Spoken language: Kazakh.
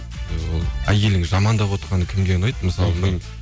ол әйелің жамандап отырғаны кімге ұнайды мысалы